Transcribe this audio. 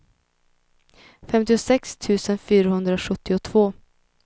femtiosex tusen fyrahundrasjuttiotvå